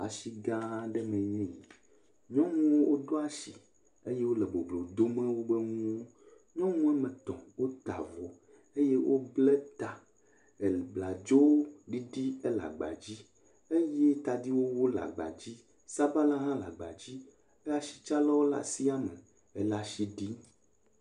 Atsi gã aɖe mee enye eyi, nyɔnuwo woɖo atsi eye wole boblo dom wobe nuwo, nyɔnu woame etɔ̃wota avɔ eye wobla ta, abladzoɖiɖi ele agba dzi, eye tadiwowo le agba dzi, sabala hã le agba dzi, asitsalawo le asia me, ele atsi ɖii.